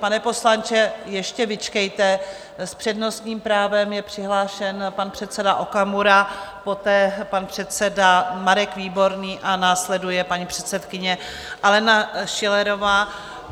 Pane poslanče, ještě vyčkejte, s přednostním právem je přihlášen pan předseda Okamura, poté pan předseda Marek Výborný a následuje paní předsedkyně Alena Schillerová.